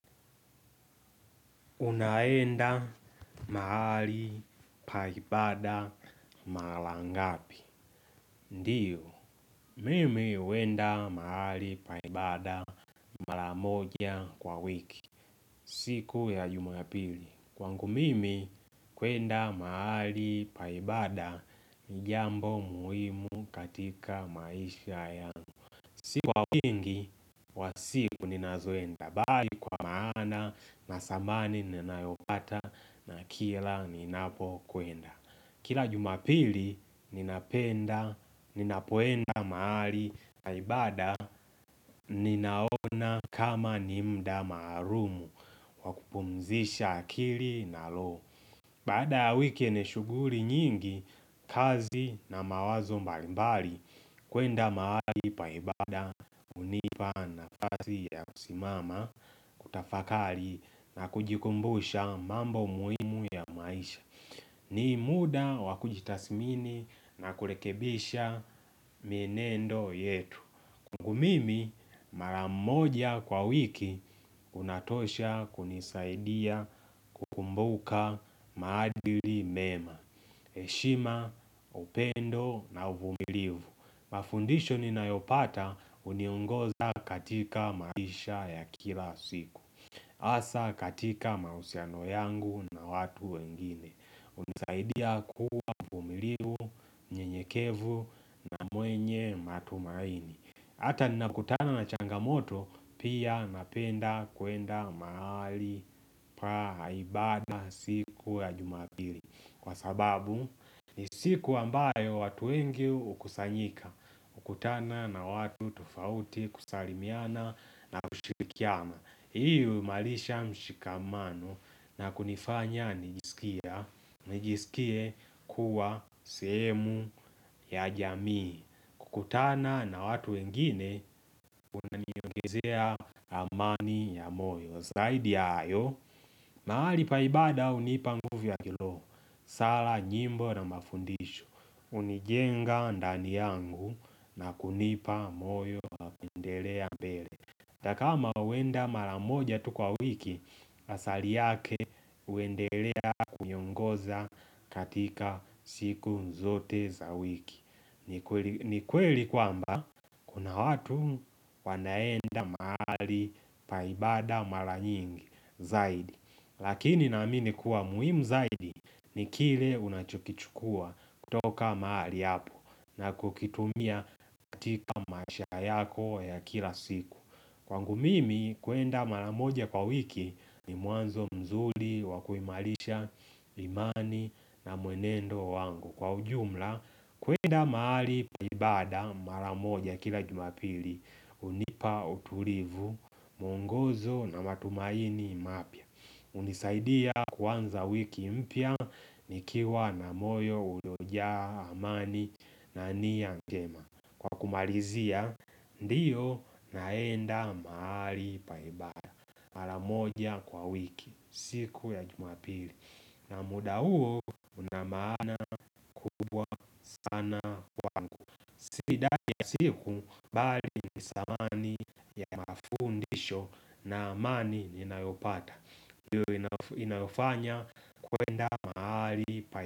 Unaenda mahali paibada mara ngapi? Ndiyo, mimi huenda mahali paibada mara moja kwa wiki. Siku ya juma ya pili. Kwangu mimi kuenda mahali paibada ni jambo muhimu katika maisha ya siku wa wingi wa siku ni nazoenda. Tabari kwa maana na samani ninayopata na kila ninapo kuenda. Kila jumapili ninapenda ninapoenda mahali na ibada ninaona kama nimuda maalumu wakupumzisha akili na loho. Baada ya wiki yenye shughuri nyingi kazi na mawazo mbalimbali kuenda mahali paibada hunipa na fasi ya kusimama kutafakari na kujikumbusha mambo muhimu ya maisha ni muda wakujitasimini na kurekebisha mienendo yetu kwaNgu mimi maramoja kwa wiki unatosha kunisaidia kukumbuka maadili mema, heshima, upendo na uvumilivu Mafundisho ni na yopata huniungoza katika maisha ya kila siku Asa katika mahusiano yangu na watu wengine hunisaidia kuwa mvumilivu, mnye nyekevu na mwenye matumaini Hata nina kutana na changamoto pia napenda kuenda mahali pa ibada siku ya jumapili Kwa sababu ni siku ambayo watu wengi hukusanyika kukutana na watu tofauti kusalimiana na kushirikiana Hii huimalisha mshikamano na kunifanya nijisikia nijisikie kuwa sehemu ya jamii kukutana na watu wengine, unaniongezea amani ya moyo Zaidi hayo, mahali paibada unipa nguvu ya kiroho, nyimbo na mafundisho hunijenga ndani yangu na kunipa moyo na kuendelea mbele hatakama huenda maramoja tukwa wiki, asali yake uendelea kuniongoza katika siku zote za wiki ni kweli kwamba kuna watu wanaenda mahali paibada mara nyingi zaidi Lakini naamini kuwa muhimu zaidi ni kile unachokichukua kutoka mahali hapo na kukitumia katika maishaha yako ya kila siku Kwangu mimi kuenda mara moja kwa wiki ni mwanzo mzuli wakuimalisha imani na mwenendo wangu Kwa ujumla kuenda mahali paibada maramoja kila jumapili hunipa utulivu mwongozo na matumaini mapya hunisaidia kwanza wiki mpya nikiwa na moyo ulojaa amani na nia njema Kwa kumalizia ndiyo naenda mahali paibada maramoja kwa wiki siku ya jumapili na muda huo na maana kubwa kana Sida ya siku bali ni thamani ya mafundisho na amani ni inayopata hiyo inayofanya kuenda mahali pa.